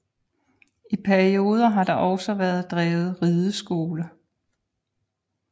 I perioder har der også været drevet rideskole